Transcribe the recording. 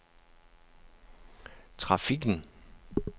trafikken